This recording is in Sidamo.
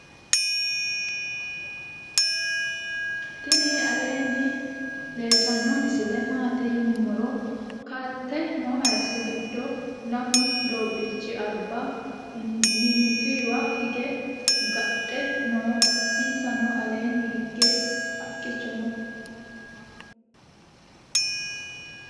tini aleni leltano misile maati yinumoro kaalte no hayiso giddo lamu dobichi alba minittuwa hiige gadhe noo. insara aleni hige haaqicho noo.